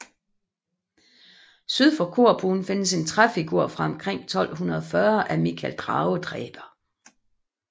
Syd for korbuen findes en træfigur fra omkring 1240 af Mikael dragedræber